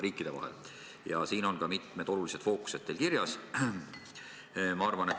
Teil on siin mitmed olulised fookused kirjas.